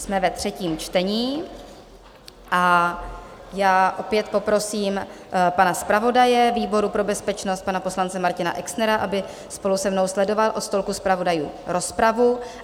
Jsme ve třetím čtení a já opět poprosím pana zpravodaje výboru pro bezpečnost, pana poslance Martina Exnera, aby spolu se mnou sledoval od stolku zpravodajů rozpravu.